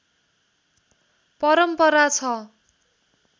परम्परा छ